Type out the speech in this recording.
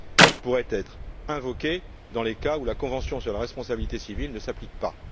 Elle pourrait être invoquée dans les cas où la convention sur la responsabilité civile ne s'applique pas.